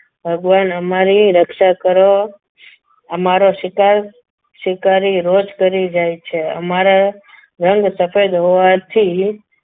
ભગવાન અમારી રક્ષા કરો અમારો શિકાર શિકારી રોજ કરી જાય છે અમારા રંગ સફેદ હોવાથી